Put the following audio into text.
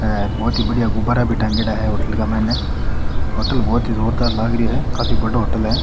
हेर बहोत ही बढ़िया गुब्बारा भी टांगयेड़ा है होटल के मायने होटल बहुत ही जोरदार लाग रियो है काफी बड़ो होटल है।